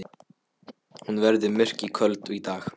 Hún verður myrk og köld í dag.